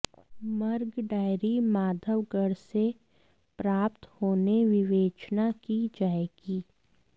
मर्ग डायरी माधवगर से प्राप्त होने विवेचना की जाएगी